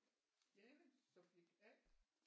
Jane subject A